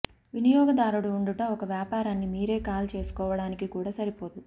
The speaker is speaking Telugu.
వినియోగదారుడు ఉండుట ఒక వ్యాపారాన్ని మీరే కాల్ చేసుకోవటానికి కూడా సరిపోదు